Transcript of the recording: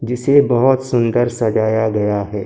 जिसे बहोत सुंदर सजाया गया है।